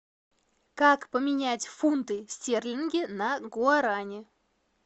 как поменять фунты стерлинги на гуарани